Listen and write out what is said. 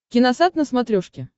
киносат на смотрешке